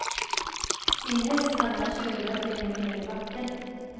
Sin häst hade han tjudrat längre ner i backen.